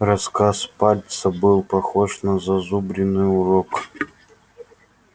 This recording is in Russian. рассказ пальца был похож на зазубренный урок